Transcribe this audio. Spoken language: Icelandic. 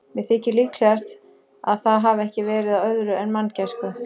Mér þykir líklegast, að það hafi ekki verið af öðru en manngæsku.